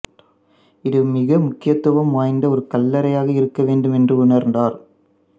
இது மிக முக்கியத்துவம் வாய்ந்த ஒரு கல்லறையாக இருக்க வேண்டும் என்று உணர்ந்தார்